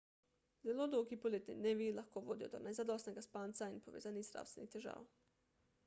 zelo dolgi poletni dnevi lahko vodijo do nezadostnega spanca in povezanih zdravstvenih težav